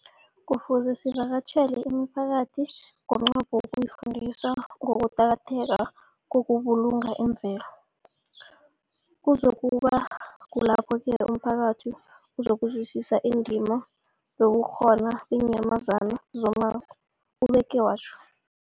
Kufuze sivakatjhele imiphakathi ngomnqopho wokuyifundisa ngokuqakatheka kokubulunga imvelo. Kuzoku ba kulapho-ke umphakathi uzokuzwisisa indima yobukhona beenyamazana zommango, ubeke watjho.